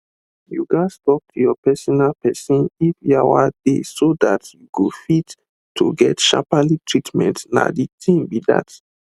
you gas to talk to your personal persin if yawa dey so dat you fit to get sharperly treatment na de thing be dat